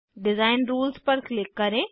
design rules पर click करें